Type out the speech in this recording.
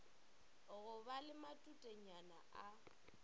go ba le matutenyana a